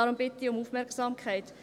Deshalb bitte ich um Aufmerksamkeit.